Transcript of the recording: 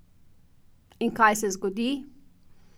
In kaj se zgodi?